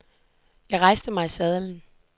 Jeg rejste mig i sadlen.